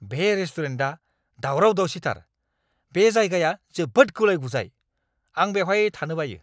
बे रेस्टुरेन्टआ दावराव-दावसिथार, बे जायगाया जोबोद गुलाइ-गुजाइ, आं बेवहाय थानो बायो।